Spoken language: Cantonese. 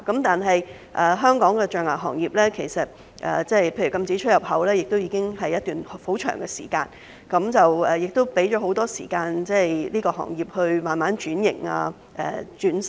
但是，就香港的象牙行業而言，例如禁止出入口的措施實施已久，當局亦已給予行業很多時間慢慢轉型、革新等。